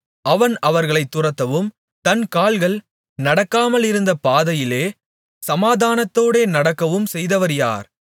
அவன் அவர்களைத் துரத்தவும் தன் கால்கள் நடக்காமலிருந்த பாதையிலே சமாதானத்தோடே நடக்கவும் செய்தவர் யார்